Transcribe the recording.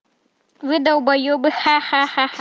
вы долбаебы ха-ха-ха